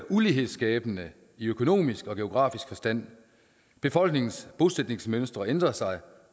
ulighedsskabende i økonomisk og geografisk forstand befolkningens bosætningsmønstre ændrer sig